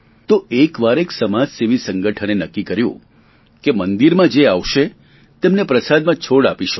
તો એક વાર એક સમાજસેવી સંગઠને નક્કી કર્યું કે મંદિરમાં જે આવશે તેમને પ્રસાદમાં છોડ આપીશું